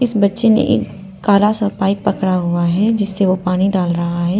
इस बच्चे ने एक काला सा पाइप पकड़ा हुआ है जिससे वह पानी डाल रहा है।